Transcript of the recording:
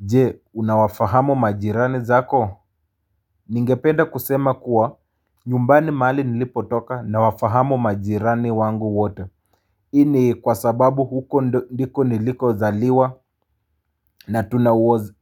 Je, unawafahamu majirani zako? Ningependa kusema kuwa, nyumbani mahali nilipotoka, nawafahamu majirani wangu wote. Hii ni kwa sababu huko ndiko niliko zaliwa na tuna